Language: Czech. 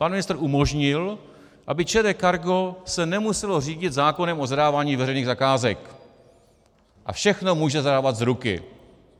Pan ministr umožnil, aby ČD Cargo se nemuselo řídit zákonem o zadávání veřejných zakázek, a všechno může zadávat z ruky.